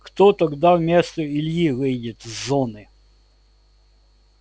кто тогда вместо ильи выйдет с зоны